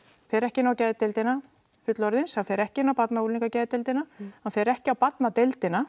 fer ekki inn á geðdeildina fullorðins fer ekki inn á barna og unglingadeildina hann fer ekki á barnadeildina